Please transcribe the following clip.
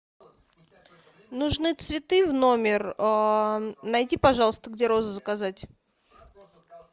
нужны цветы в номер найди пожалуйста где розы заказать